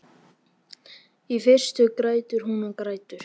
Í fyrstu grætur hún og grætur.